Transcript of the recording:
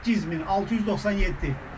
8697.